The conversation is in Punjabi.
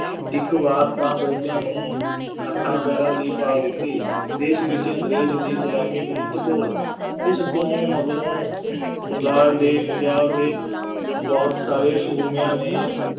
ਇੱਕ ਵਾਰ ਤਾਂ ਅੰਗਰੇਜ਼ਾਂ ਨੂੰ ਹੱਥਾਂ ਪੈਰਾਂ ਦੀ ਪਾ ਦਿੱਤੀ, ਦੇਸ਼ ਵਿੱਚ ਅੰਗਰੇਜ਼ ਦੀ ਗੁਲਾਮੀ ਵਿਰੁੱਧ ਘੋਲ, ਇਸ ਤੋਂ ਮਗਰੋਂ ਬੰਗਾਲ ਦੇ, ਪੰਜਾਬ ਦੇ ਬਹੁਤ ਸਾਰੇ ਸੂਰਮਿਆਂ ਨੇ